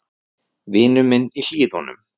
Vinur minn í Hlíðunum.